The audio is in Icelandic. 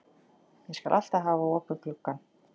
Ég skal alltaf hafa opinn gluggann.